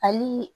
Hali